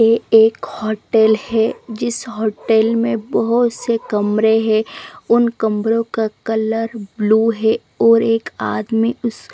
एक होटल है जिस होटल में बहोत से कमरे है उन कमरों का कलर ब्लू है और एक आदमी उस--